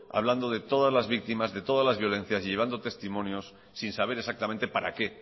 hablando de todas las víctimas de todas las violencias y llevando testimonios sin saber exactamente para qué